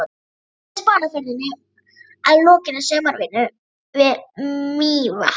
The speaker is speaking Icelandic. Í fyrstu Spánarferðinni að lokinni sumarvinnu við Mývatn.